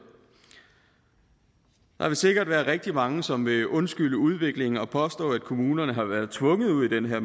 der vil sikkert være rigtig mange som vil undskylde udviklingen og påstå at kommunerne har været tvunget ud i den her